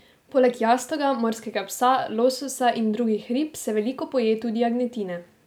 Poleg jastoga, morskega psa, lososa in drugih rib se veliko poje tudi jagnjetine.